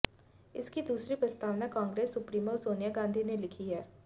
इसकी दूसरी प्रस्तावना कांग्रेस सुप्रीमो सोनिया गांधी ने लिखी है